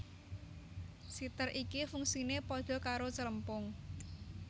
Siter iki fungsine pada karo Celempung